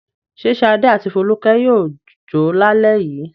Ṣé Ṣadé àti Folúkẹ́ yóò jó lálẹ́ yìí?